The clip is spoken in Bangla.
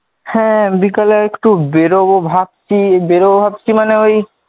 হ্যাঁ বিকালে একটু বেরোব ভাবছি বেরোব ভাবছি মানে ঐ,